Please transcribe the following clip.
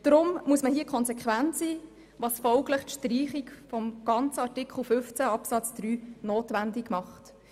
Darum muss man hier konsequent sein, was folglich die Streichung des ganzen Artikels 15 Absatz 3 notwendig macht.